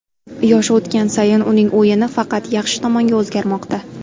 Yoshi o‘tgan sayin uning o‘yini faqat yaxshi tomonga o‘zgarmoqda.